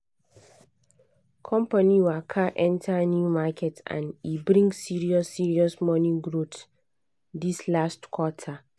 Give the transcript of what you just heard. company waka enter new market and e bring serious serious money growth this last quarter